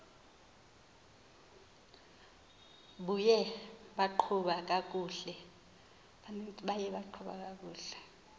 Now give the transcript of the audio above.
buye baqhuba kakuhle